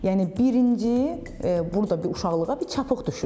Yəni birinci burda bir uşaqlığa bir çapıq düşür.